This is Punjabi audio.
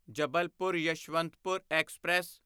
ਜਬਲਪੁਰ ਯਸ਼ਵੰਤਪੁਰ ਐਕਸਪ੍ਰੈਸ